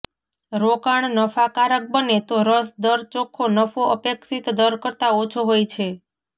રોકાણ નફાકારક બને તો રસ દર ચોખ્ખો નફો અપેક્ષિત દર કરતાં ઓછો હોય છે